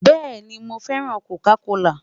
Bẹẹni, Mo fẹran Coca kola